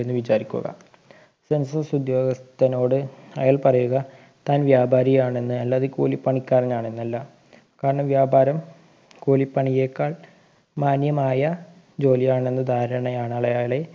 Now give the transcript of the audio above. എന്ന് വിചാരിക്കുക census ഉദ്യോഗസ്ഥനോട് അയാൾ പറയുക താൻ വ്യാപാരിയാണെന്ന് അല്ലാതെ കൂലിപ്പണിക്കാരനാണെന്നല്ല കാരണം വ്യാപാരം കൂലിപ്പണിയെക്കാൾ മാന്യമായ ജോലിയാണെന്ന് ധാരണയാണ് അളയാളെ